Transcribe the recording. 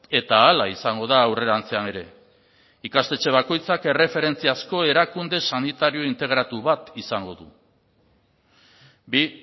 eta hala izango da aurrerantzean ere ikastetxe bakoitzak erreferentzia asko erakunde sanitario integratu bat izango du bi